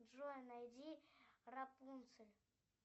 джой найди рапунцель